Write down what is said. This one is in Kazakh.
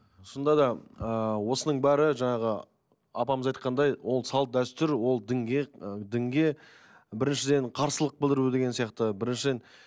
шынында да ыыы осының бәрі жаңағы апамыз айтқандай ол салт дәстүр ол дінге ы дінге біріншіден қарсылық білдіру деген сияқты біріншіден